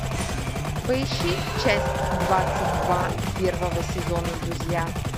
поищи часть двадцать два первого сезона друзья